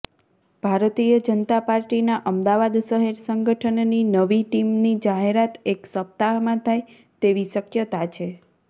ભારતીય જનતા પાર્ટીના અમદાવાદ શહેર સંગઠનની નવી ટીમની જાહેરાત એક સપ્તાહમાં થાય તેવી શક્યતા છે